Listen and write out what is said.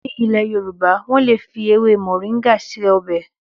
Ní ilé Yoruba, wọ́n lè fi ewé mọ̀ríńgà ṣe ọbẹ̀